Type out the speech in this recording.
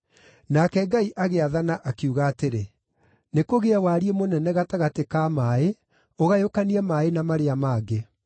Nake Ngai agĩathana, akiuga atĩrĩ, “Nĩkũgĩe wariĩ mũnene gatagatĩ ka maaĩ ũgayũkanie maaĩ na marĩa mangĩ.”